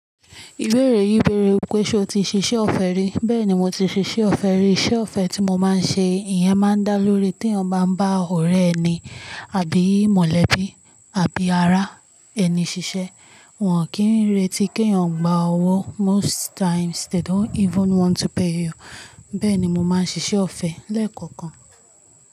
Ìbéèrè yìí bèèrè wípé ṣe o ti ṣiṣẹ́ ọ̀fẹ́ rí. Bẹ́ẹ̀ni mo ti ṣiṣẹ́ ọ̀fẹ́ rí. Iṣẹ́ ọ̀fẹ́ tí mo máa ń ṣe, ìyẹn máa ń dá lórí tí eyán bá n ba ọ̀rẹ́ ẹni, àbí ìmolẹ̀bi, àbí ará ẹni ṣiṣẹ́. Wọn kì n retí kí eyan gbá ọwọ́. Most times they don't even want to pay you. Bẹ́ẹ̀ ni mo máa ń ṣiṣẹ́ ọ̀fẹ́ lẹ́ẹ̀kọ̀kan.